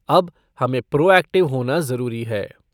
अब हमें proactive होना जरूरी है।